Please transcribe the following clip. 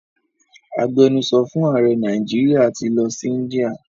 Agbenusọ fún ààrẹ Nàìjíríà ti lọ sí India.